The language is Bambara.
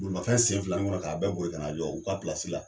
Bolimafɛn sen fila nin ŋɔnɔ k'a bɛɛ boli kan'a jɔ u ka pilasi la.